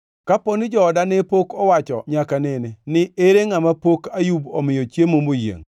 Kapo ni jooda ne pok owacho nyaka nene ni, ‘Ere ngʼama pok Ayub omiyo chiemo moyiengʼ?’